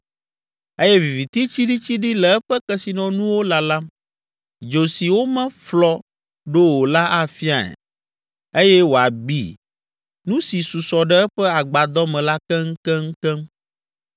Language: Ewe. eye viviti tsiɖitsiɖi le eƒe kesinɔnuwo lalam. Dzo si womeƒlɔ ɖo o la afiae eye wòabi nu si susɔ ɖe eƒe agbadɔ me la keŋkeŋkeŋ.